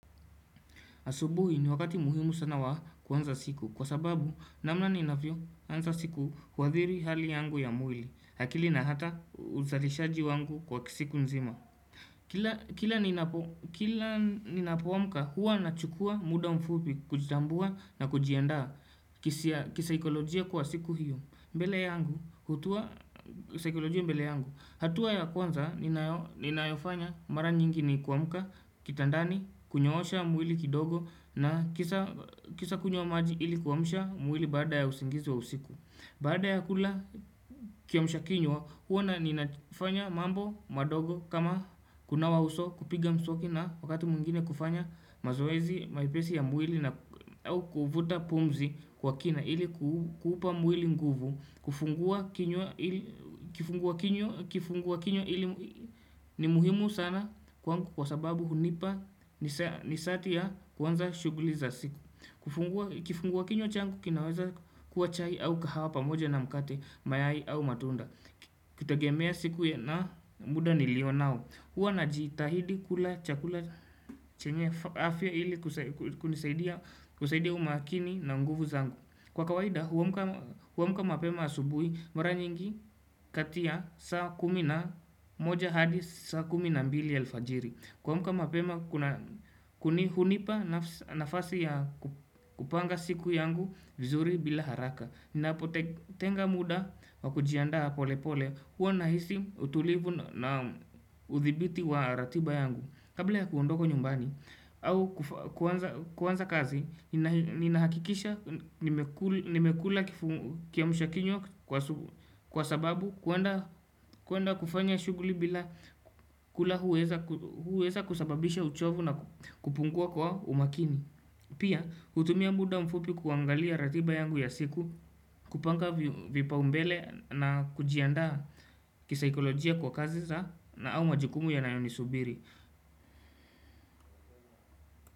Asubuhi ni wakati muhimu sana wa kuanza siku kwa sababu namna ninavyo anza siku huathiri hali yangu ya mwili. Akili na hata uzalishaji wangu kwa siku nzima kila Kila ninapoamka huwa na chukua muda mfupi kujitambua na kujianda. Kisikolojia kwa siku hiyo. Mbele yangu, hatoa. Saikilojia mbele yangu. Hatua kwanza, ninayofanya mara nyingi ni kuamuka, kitandani, kunyosha mwili kidogo na kisha kisha kunywa maji ili kuamsha mwili baada ya usingizi wa usiku. Baada ya kula kiamsha kinywa huwa ni nafanya mambo madogo kama kunawa uso kupiga msoki na wakati mwingine kufanya mazoezi mepesi ya mwili au kuvuta pumzi kwa kina ili kuupa mwili nguvu kufungua kinywa kifungua kinywa kifungua kinywa ili ni muhimu sana kwangu kwa sababu hunipa nishati ya kuanza shughuli za siku. Kifungua kinywa changu kinaweza kuwa chai au kahawa pamoja na mkate mayai au matunda. Ukitegemea siku na muda nilionao. Huwa na jitahidi kula chakula chenye afya ili kunisaidia kunisaidia umakini na nguvu zangu. Kwa kawaida huamka. Huamka mapema asubui mara nyingi katia saa kumi na moja hadi saa kumi na mbili alfajiri. Kwa muka mapema kuni hunipa nafasi ya kupanga siku yangu vizuri bila haraka. Ninapo tenga muda wa kujiandaa pole pole. Huwa nahisi utulivu na uthibiti wa ratiba yangu kabla ya kuondoka nyumbani au kuanza kazi. Ninahakikisha nimekula kiamsha kinywa kwa sababu kwenda kwenda kufanya shughuli bila kula huweza kusababisha uchovu na kupungua kwa umakini Pia hutumia muda mfupi kuangalia ratiba yangu ya siku kupanga vipaumbele na kujiandaa kisaikolojia kwa kazi za na au majukumu yanayo ni subiri.